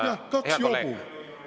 Jah, kaks jobu!